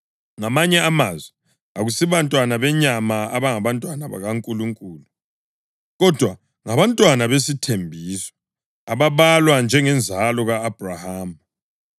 Ngamanye amazwi, akusibantwana benyama abangabantwana bakaNkulunkulu, kodwa ngabantwana besithembiso ababalwa njengenzalo ka-Abhrahama.